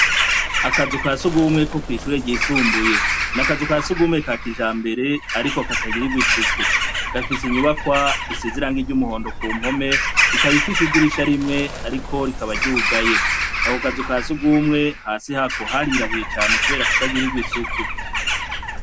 Akazu ka sugumwe ko kw'ishure ryisumbuye. Ni akazu ka sugumwe ka kijambere ariko katagirirwa isuku. Gafise inyubakwa isize irangi ry'umuhondo ku mpome, ikaba ifise idirisha rimwe ariko rikaba ryugaye. Ako kazu ka sugumwe, hasi yako harirabuye cane kubera kutagirigwa isuku.